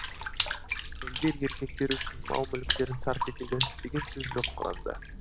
әйелдер еркектер үшін мал мүліктерін сарп етеді деген сөз жоқ құранда